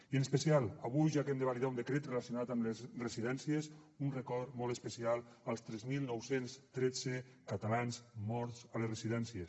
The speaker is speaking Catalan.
i en especial avui ja que hem de validar un decret relacionat amb les residències un record molt especial als tres mil nou cents i tretze catalans morts a les residències